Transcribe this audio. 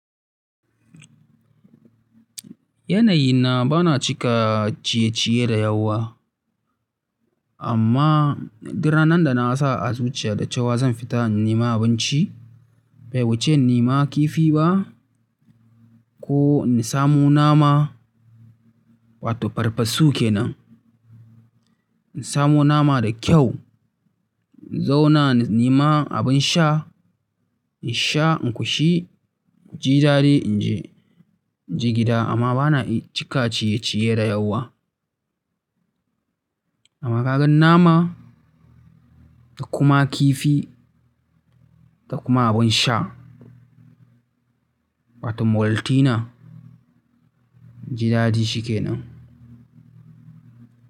Yanayi na bana cika ciye-ciye da yawa. Amma, duk ranna da na sa azumi ya dace wa zan fita nema abinci. Bai wuce nima kifi ba ko in samo nama, wato farfasu kenan. In samo nama da kyau in zauna in nema abin sha in sha in ƙoshi, in ji daɗi in je gida amma bana cika ciye-ciye da yawa. Amma ka gan nama da kuma kifi da kuma abin sha, wato Maltina, ji daɗi shi kenan.